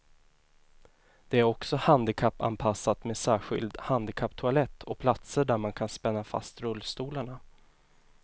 Det är också handikappanpassat med särskild handikapptoalett och platser där man kan spänna fast rullstolarna.